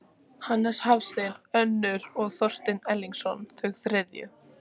Hannes Hafstein önnur og Þorsteinn Erlingsson þau þriðju.